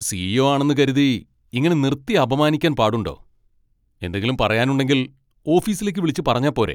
C. E. O ആണെന്ന് കരുതി ഇങ്ങനെ നിർത്തി അപമാനിക്കാൻ പാടുണ്ടോ, എന്തെങ്കിലും പറയാനുണ്ടെങ്കിൽ ഓഫീസിലേക്ക് വിളിച്ച് പറഞ്ഞാ പോരെ.